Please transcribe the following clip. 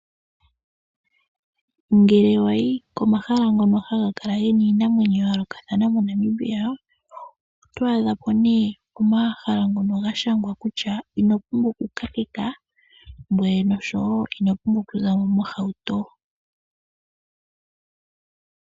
Ngele wa yi ko mahala ngono haga kala gena iinamwenyo ya yoolokathana mo Namibia, oto adha po nduno omahala ngono ga shangwa kutya ino pumbwa oku kakeka, ngoye nosho wo ino pumbwa oku zamo mohauto.